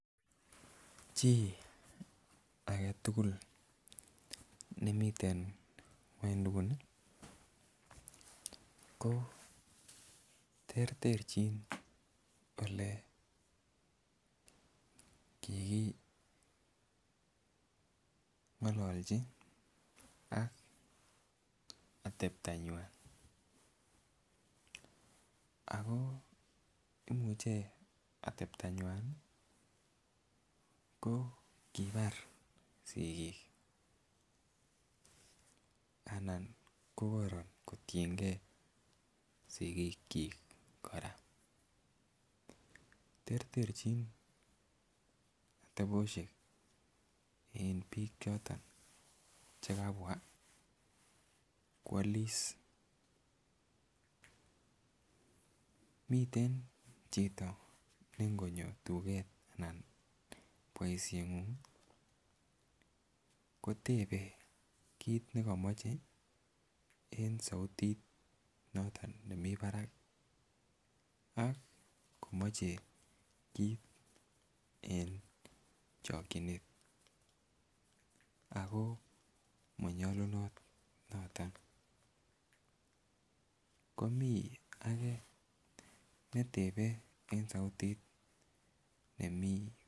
Chii agetukul nemiten ngwoiduni ko terterchin ole kikingololchi ak oteptonywan ako imuche oteptonywan Nii ko kibar sikik anan kokoron kotiy6 sikik chik Koraa. Terterchin tabioshek en bik choton chekabwa kwolis, miten chito nengonyo tuket anan boishengung kotebe kit nekomoche en souti noton nemii barak ak komoche kit en chikinet ako monyolunot noton. Komii age netebe en souti nemii .